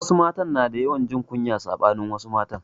Wasu matan suna da yawan jin kunya saɓanin wasu mata